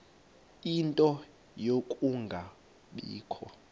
ie nto yokungabikho